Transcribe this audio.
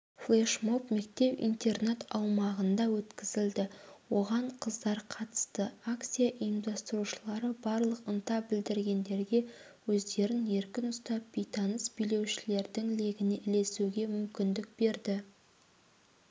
флешмоб мектеп-интернат аумағында өткізілді оған қыздар қатысты акция ұйымдастырушылары барлық ынта білдіргендерге өздерін еркін ұстап бейтаныс билеушілердің легіне ілесуге мүмкіндік берді